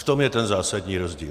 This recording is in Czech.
V tom je ten zásadní rozdíl.